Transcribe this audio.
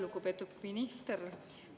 Lugupeetud minister!